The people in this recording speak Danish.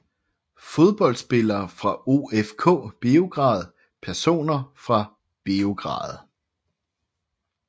Fodboldspillere fra OFK Beograd Personer fra Beograd